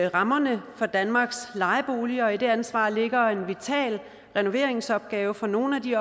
rammerne for danmarks lejeboliger og i det ansvar ligger en vital renoveringsopgave for nogle af de